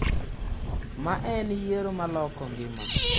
‘Ma en yiero ma loko ngima.